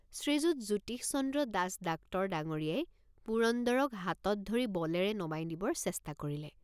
শ্ৰীযুত Jyotishchandra Das doctor ডাঙৰীয়াই পুৰন্দৰক হাতত ধৰি বলেৰে নমাই নিবৰ চেষ্ট৷ কৰিলে।